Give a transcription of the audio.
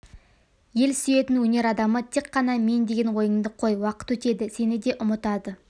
ел сүйетін өнер адамы тек қана мен деген ойыңды қой уақыт өтеді сені де ұмытады